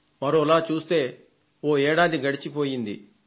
మరొకలా చూస్తే ఇప్పటికి ఏడాది గడచిపోయింది